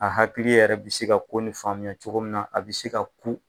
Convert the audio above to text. A hakili yɛrɛ bɛ se ka ko ni faamuya cogo min na a bɛ se ka ku.